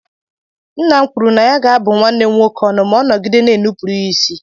Nna m kwuru na ya ga-abụ nwanne m nwoke ọnụ ma ọ nọgide na-enupụrụ ya isi.